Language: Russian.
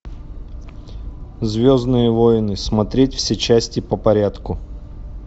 звездные войны смотреть все части по порядку